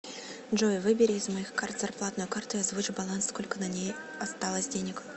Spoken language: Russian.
джой выбери из моих карт зарплатную карту и озвучь баланс сколько на ней осталось денег